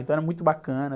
Então era muito bacana.